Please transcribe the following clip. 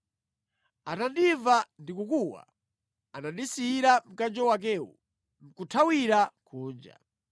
Atandimva ndikukuwa, anandisiyira mkanjo wakewu nʼkuthawira kunja.”